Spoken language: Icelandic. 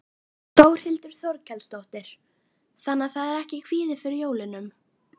Þórhildur Þorkelsdóttir: Þannig að það er ekki kvíði fyrir jólunum?